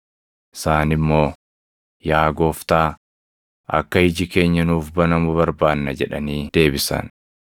Isaan immoo, “Yaa Gooftaa, akka iji keenya nuuf banamu barbaanna” jedhanii deebisan.